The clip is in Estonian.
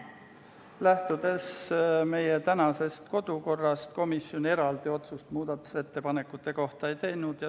Lähtudes meie kodukorrast komisjon eraldi otsust muudatusettepanekute kohta ei teinud.